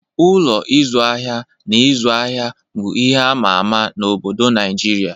Ụlọ ịzụ ahịa na ịzụ ahịa bụ ihe ama ama n'obodo Naịjirịa